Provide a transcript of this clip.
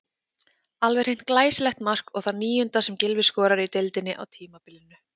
Alveg hreint glæsilegt mark og það níunda sem Gylfi skorar í deildinni á tímabilinu.